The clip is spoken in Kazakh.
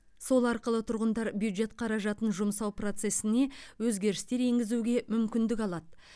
сол арқылы тұрғындар бюджет қаражатын жұмсау процесіне өзгерістер енгізуге мүмкіндік алады